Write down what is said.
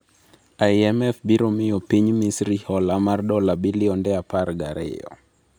IMF biro miyo piny Misri hola mar dola bilionde apargiariyo